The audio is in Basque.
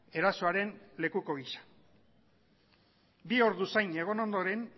erasoaren lekuko gisa bi ordu zain egon ondoren